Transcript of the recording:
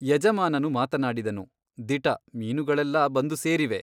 ಯಜಮಾನನು ಮಾತನಾಡಿದನು ದಿಟ ಮೀನುಗಳೆಲ್ಲ ಬಂದು ಸೇರಿವೆ.